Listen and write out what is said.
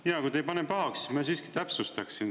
Jaa, kui te ei pane pahaks, ma siiski täpsustaksin.